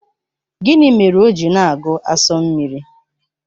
Gịnị mere o ji na-agu asu mmiri?